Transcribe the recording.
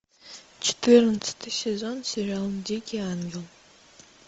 четырнадцатый сезон сериал дикий ангел